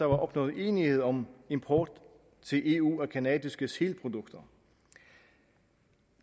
opnået enighed om import til eu af canadiske sælprodukter